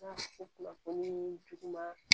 kunnafoni juguman